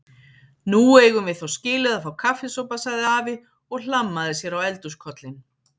Nú eigum við þó skilið að fá kaffisopa sagði afi og hlammaði sér á eldhúskollinn.